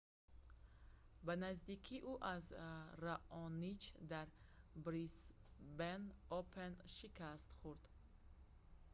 ба наздикӣ ӯ аз раонич дар брисбен опен шикаст хӯрд